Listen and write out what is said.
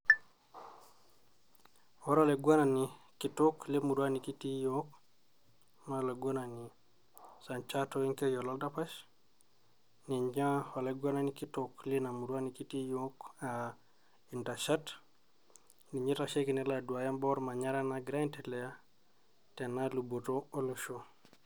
Ore olaigwenani kitok lemurua nekitii iyook naa olaigwenani Sanjat Toronkei Ololdapash, ninye olaigwenani kitok lina murua nekitii iyook aa Intashat, ninye oitasheki nelo aduaya imbaa olmanyara naagira aendelea tena luboto olosho.